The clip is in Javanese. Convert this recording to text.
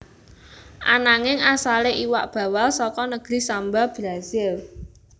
Ananging asalé iwak bawal saka negri Samba Brazil